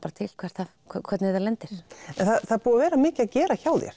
hvernig það lendir það er búið að vera mikið að gera hjá þér